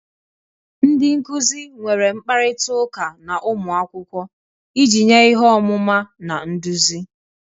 Ndị nkuzi nwere mkparịta ụka na ụmụ akwụkwọ iji nye ihe ọmụma na nduzi